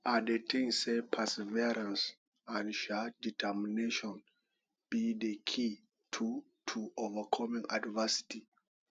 i dey think say perseverance and um determination be di key to to overcoming adversity